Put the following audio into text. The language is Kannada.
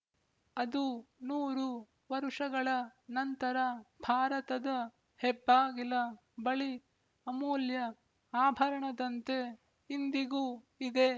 ಅದು ನೂರು ವರುಷಗಳ ನಂತರ ಭಾರತದ ಹೆಬ್ಬಾಗಿಲ ಬಳಿ ಅಮೂಲ್ಯ ಆಭರಣದಂತೆ ಇಂದಿಗೂ ಇದೆ